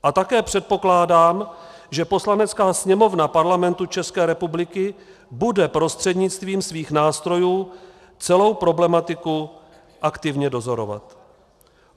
A také předpokládám, že Poslanecká sněmovna Parlamentu České republiky bude prostřednictvím svých nástrojů celou problematiku aktivně dozorovat.